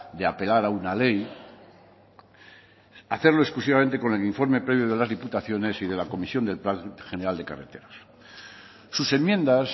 de apelar a una ley hacerlo exclusivamente con el informe previo de las diputaciones y de la comisión del plan general de carreteras sus enmiendas